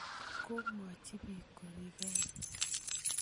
Ko mwochi piik korikei.